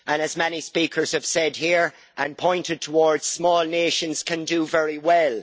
As many speakers have said here and pointed towards, small nations can do very well.